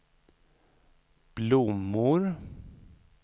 blommor